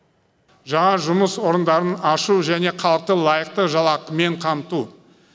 жаңа жұмыс орындарын ашу және халықты лайықты жалақымен қамту